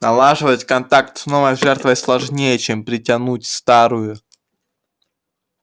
налаживать контакт с новой жертвой сложнее чем притянуть старую